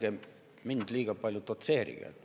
Ärge mind liiga palju dotseerige.